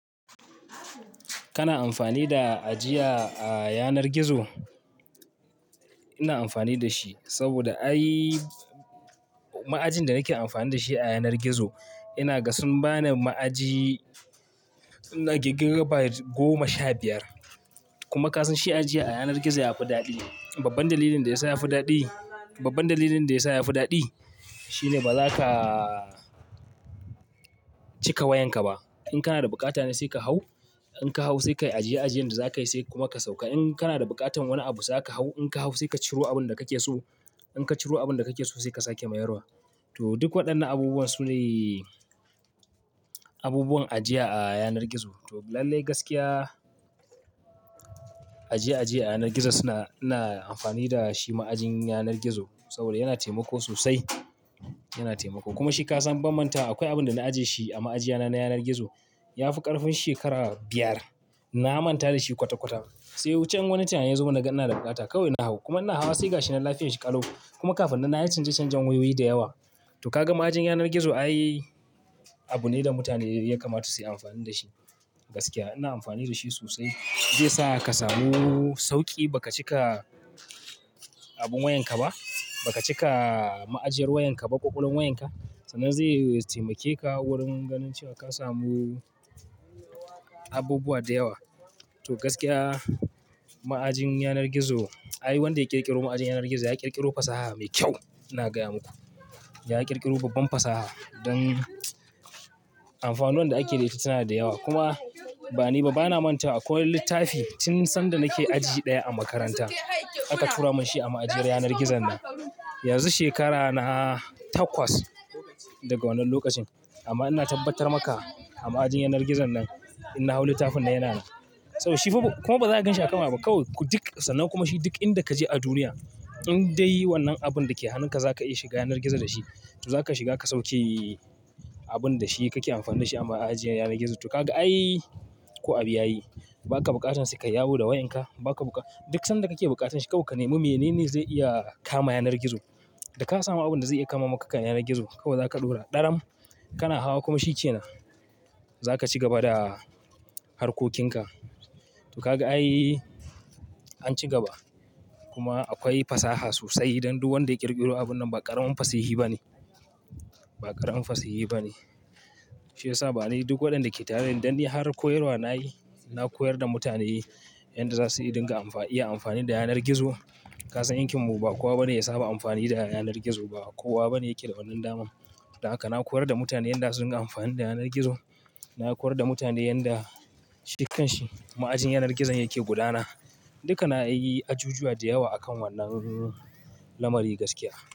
Kana amfani da ajiya a yanar gizo? Ina amfani da shi saboda ai-- ma'ajin da nake amfani da shi a yanar gizo ina ga sun bani ma'aji na gigar byte goma sha biyar. Kuma kasan shi ajiya a yanar gizo yafi daɗi. Babban dalilin da yasa yafi daɗi, babban dalilin da yasa yafi daɗi shine bazaka cika wayanka ba. In kana da bukata ne sai ka hau, in ka hau sai ka yi ajiye ajiyen da zakayi sai kuma ka sauka. In kana da bukatan wani abu zaka hau, in ka hau sai ka ciro abun da kake so. In ka ciro abun da kake so sai ka sake mayarwa. To duk waɗannan abubuwan su ne abubuwan ajiya a yanar gizo. To lallai gaskiya ajiye ajiye a yanar gizo suna-- ina amfani da shi ma'ajin yanar gizo saboda yana taimako sosai, yana taimako. Kuma shi ka san bammantawa akwai abin da na ajiye shi a ma'ajiya na, na yanar gizo yafi ƙarfin shekara biyar. Na manta da shi kwata-kwata sai can wani tunani ya zo mun na ga ina da bukata kawai na hau. Kuma ina hawa sai ga shi na lafiyan shi ƙalau. Kuma kafin nan nayi canje-canjen wayoyi da yawa. To kaga ma'ajin yanar gizo ayi abu ne da mutane ya kamata su yi amfani da shi. Gaskiya ina amfani da shi sosai. Zai sa ka samu sauƙi, ba ka cika abin wayanka ba, ba ka cika ma'ajiyar wayanka ba, ƙoƙolwan wayanka. Sannan zai taimake ka wurin ganin cewa ka samu abubuwa da yawa. To gaskiya ma'ajin yanar gizo, ai wanda ya ƙirƙiro ma'ajin yanar gizo ya ƙirƙiro fasaha mai kyau. Ina gaya muku, ya ƙirƙiro babban fasaha don amfanuwan da ake da ita suna da yawa. Kuma bani ba, bana manta akwai littafi tun sanda nake aji ɗaya a makaranta aka tura mun shi a ma'ajiyar yanar gizon nan. Yanzu shekara na takwas daga wannan lokacin amma ina tabbatar maka a ma'ajin yanar gizon nan inna hau littafin nan yana nan. Saboda shi fa kuma baza ka ganshi a kan waya ba kawai ku duk sanan kuma shi duk inda kaje a duniya in dai wannan abun dake hannunka zaka iya shiga yanar gizo da shi, to zaka shiga ka sauke abun da shi kake amfani da shi a ma'ajiyar yanar gizo. To kaga ayi ko abu ya yi, baka bukatan sai kai yawo da wayanka. Baka buka-- duk sanda kake bukatan shi kawai ka nemi. Menene zai iya kama yanar gizo? Da ka samu abun da zai iya kama maka kan yanar gizo kawai zaka ɗora ɗaram kana hawa kuma shi ce nan zaka ci gaba da harkokinka. To kaga ai, an ci gaba. Kuma akwai fasaha sosai don duk wanda ya ƙirƙiro abun nan ba ƙaramin fasihi ba ne, ba ƙaramin fasihi ba ne. Shi yasa bane duk waɗanda ke tare da ni dan ni har koyarwa nayi, na koyar da mutane yanda za su iya dinga amfa-- iya amfani da yanar gizo. Ka san yankin mu ba kowa bane ya saba amfani da yanar gizo ba. Kowa bane yake da wannan damar. Don haka na koyar da mutane yanda su dinga amfani da yanar gizo. Na koyar da mutane yanda shi kanshi ma'ajin yanar gizon yake gudana. Duka na yi ajujuwa da yawa a kan wannan lamari gaskiya.